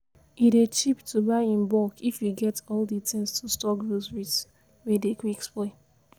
E dey cheap to buy in bulk if you get all di things to store groceries wey dey quick spoil